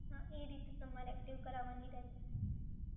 હા, એ રીતે તમારે એક્ટિવ કરાવાની રહેશે